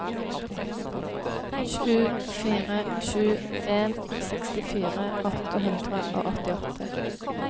sju fire sju en sekstifire åtte hundre og åttiåtte